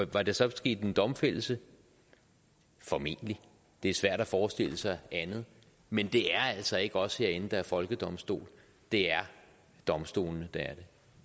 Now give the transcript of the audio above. var der så sket en domfældelse formentlig det er svært at forestille sig andet men det er altså ikke os herinde der er en folkedomstol det er domstolene der